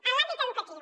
en l’àmbit educatiu